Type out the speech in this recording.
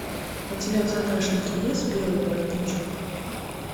у тебя в загашнике есть белый воротничок